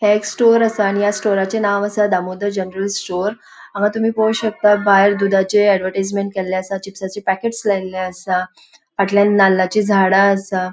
ह्ये एक स्टोर असा आनी या स्टोरचे नाव असा दामोदर जनरल स्टोर हांगा तुमि पोळो शकता भायर धुधाचे ऍडव्हर्टीसमेन्ट केले असा चिपसाचें पेकेट्स लायले असा फाटल्यान नाल्लाची झाडा आसा.